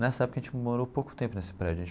Nessa época, a gente morou pouco tempo nesse prédio.